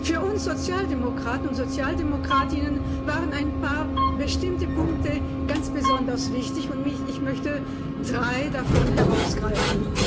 Für uns Sozialdemokratinnen und Sozialdemokraten waren ein paar bestimmte Punkte ganz besonders wichtig, und ich möchte drei davon herausgreifen.